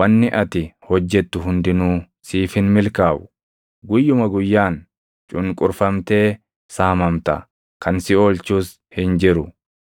wanni ati hojjettu hundinuu siif hin milkaaʼu; guyyuma guyyaan cunqurfamtee saamamta; kan si oolchus hin jiru.